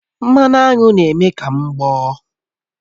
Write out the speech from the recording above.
Mmanụ aṅụ na-eme ka m gboọ́